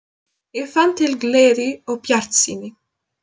Ég fann til gleði og bjartsýni.